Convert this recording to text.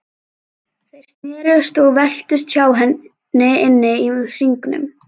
Þeir snerust og veltust hjá henni inni í hringnum.